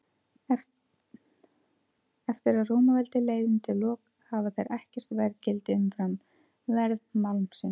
Eftir að Rómaveldi leið undir lok hafa þeir ekkert verðgildi haft umfram verð málmsins.